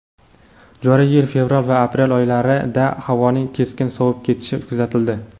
Joriy yil fevral va aprel oylarida havoning keskin sovib ketishi kuzatildi.